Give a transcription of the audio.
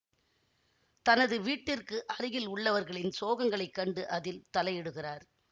தனது வீட்டிற்கு அருகில் உள்ளவர்களின் சோகங்களைக் கண்டு அதில் தலையிடுகிறார்